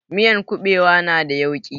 Miyan kuɓewa na da yauƙi